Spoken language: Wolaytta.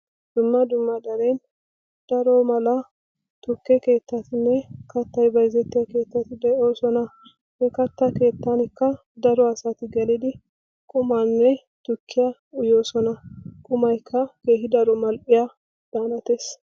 Dumma dumma xale daro mala tukke keetteatinne katta keetteti de'ooson. he kattaa keettankka gelidi daro asay qumanne tukkiyaa uyyoosoana. qummaykka keehin mal''ees.